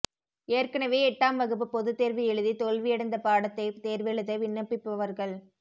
ஏற்கெனவே எட்டாம் வகுப்பு பொதுத்தோ்வு எழுதி தோல்வியடைந்த பாடத்தைத் தோ்வெழுத விண்ணப்பிப்பவா்கள்